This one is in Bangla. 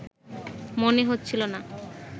মনে হচ্ছিল না